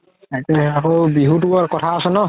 আকৌ বিহুতোৰ কথা আছে ন